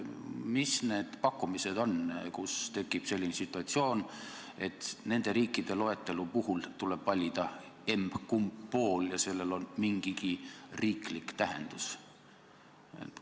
Mis need pakkumised on, kus tekib selline situatsioon, et nende riikide loetelu puhul tuleb valida emb-kumb pool ja sellel on mingigi riiklik tähendus?